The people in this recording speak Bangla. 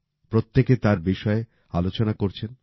প্রত্যেকে তার বিষয়ে আলোচনা করছেন